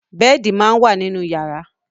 Bẹ́ẹ̀di máa ń wà nínú yàrá.